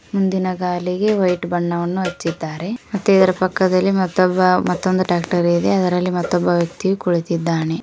ಹಿಂದಿನ ಗಾಲಿಗೆ ವೈಟ್ ಬಣ್ಣವನ್ನು ಹಚ್ಚಿದ್ದಾರೆ ಮತ್ತೆ ಇದರ ಪಕ್ಕದಲ್ಲಿ ಮತ್ತೊಬ್ಬ ಮತ್ತೊಂದು ಟ್ಯಾಕ್ಟರಿ ಇದೆ ಇದರಲ್ಲಿ ಮತ್ತೊಬ್ಬ ವ್ಯಕ್ತಿಯು ಕುಳಿತಿದ್ದಾನೆ.